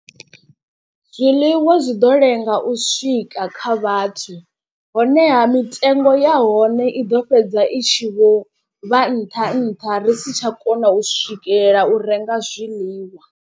Zwiḽiwa zwi ḓo lenga u swika kha vhathu, honeha mitengo ya hone i ḓo fhedza i tshi vho vha nṱha nṱha ri si tsha kona u swikelela u renga zwiḽiwa.